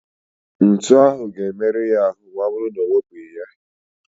Ntu ahụ ga-emerụ ya ahụ maọbụrụ na ewepụghị ya.